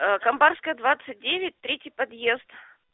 а камбарская двадцать девять третий подъезд